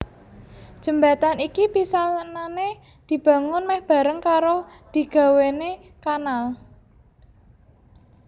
Jembatan iki pisanané dibangun mèh bareng karo digawéné kanal